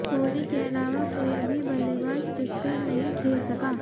कोहली के अलावा कोई भी बल्लेबाज टिककर नहीं खेल सका